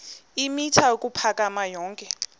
eemitha ukuphakama yonke